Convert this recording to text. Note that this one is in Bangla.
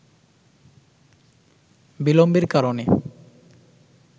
বিলম্বের কারণে